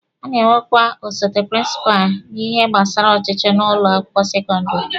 A na-enwekwa osote prịnsịpalụ n'ihe gbasara ọchịchị n'ụlọ akwụkwọ sekọndịrị.